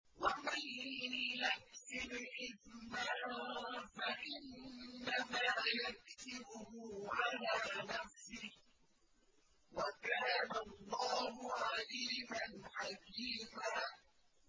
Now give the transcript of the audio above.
وَمَن يَكْسِبْ إِثْمًا فَإِنَّمَا يَكْسِبُهُ عَلَىٰ نَفْسِهِ ۚ وَكَانَ اللَّهُ عَلِيمًا حَكِيمًا